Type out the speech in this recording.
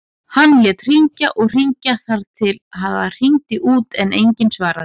Hann lét hringja og hringja þar til það hringdi út en enginn svaraði.